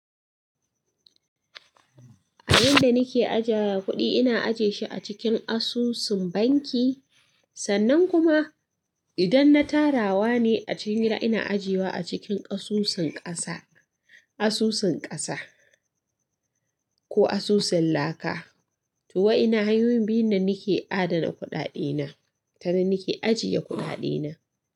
A yanda nake ajja kuɗi, ina ajiye shi a cikin asusun banki, sannan kuma idan na tarawa ne, a cikin gida ina ajiye wa a cikin ƙasusin ƙasa, asusun ƙasa, ko asusun laka. To wa'inna hanyoyin biyun nan nake adana kuɗaɗe na, tanan nake ajiye kuɗaɗe na.